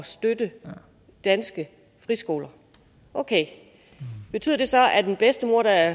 støtte danske friskoler okay betyder det så at en bedstemor der